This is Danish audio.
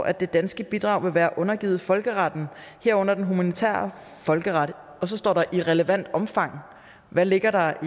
at det danske bidrag vil være undergivet folkeretten herunder den humanitære folkeret og så står der i relevant omfang hvad ligger der